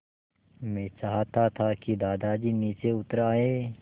मैं चाहता था कि दादाजी नीचे उतर आएँ